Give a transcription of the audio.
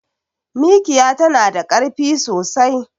Mikiya tana da karfi sosai